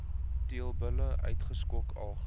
teelbulle uitgeskot alg